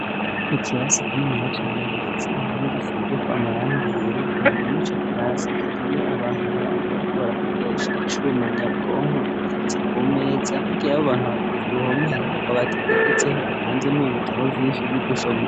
Ikirasi ikinini ya cane gifize impome gisize ko amarangi yera imbere mw'ico kirasi hari yo abantu babiri bariko barakoresha icuma nyabwonko giteretse ku umeza. Hirya abo abantu babiri ku ruhome hariho akabati kegetseho gapanze mu ibitabo vyinshi vy'ugusoma.